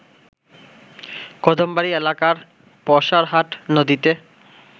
কদমবাড়ি এলাকার পয়সারহাট নদীতে